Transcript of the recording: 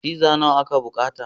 Pizza nawa aka bukata.